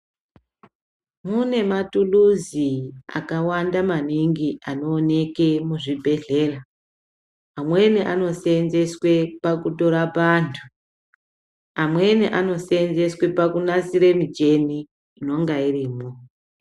Mune matuluzi akawamnda maningi anooneke muzvibhehlera. Amweni ano seenzeswe pakutorapa antu, amweni ano seenzeswe pakunasira michini inonga irimwo.